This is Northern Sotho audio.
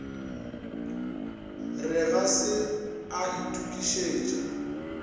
re ga se a itokišetša